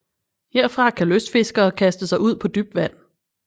Herfra kan lystfiskere kaste ud på dybt vand